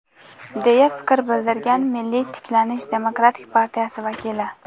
deya fikr bildirgan "Milliy tiklanish" demokratik partiyasi vakili.